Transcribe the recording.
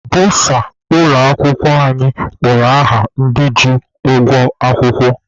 Bọsa ụlọ akwụkwọ anyị kpọrọ aha ndị ji ụgwọ akwụkwọ.